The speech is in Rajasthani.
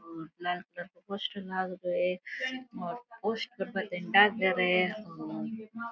और ब्लैक कलर का पोस्टर लग रहो है और पोस्टर पर गया।